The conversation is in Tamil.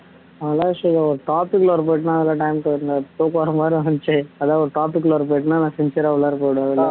நல்ல விஷயம் தான் topic உள்ள போயிட்டன்னா அதெல்லாம் time போயிரும் தூக்கம் வர்ற மாதிரி இருந்திச்சு அதான் ஒரு topic உள்ள போய்ட்டியேன்னா நான் ஆ உள்ளார போயிடுவேன்